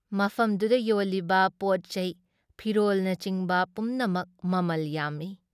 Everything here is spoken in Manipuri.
ꯃꯐꯝꯗꯨꯗ ꯌꯣꯜꯂꯤꯕ ꯄꯣꯠꯆꯩ ꯐꯤꯔꯣꯜꯅꯆꯤꯡꯕ ꯄꯨꯝꯅꯃꯛ ꯃꯃꯜ ꯌꯥꯝꯃꯤ ꯫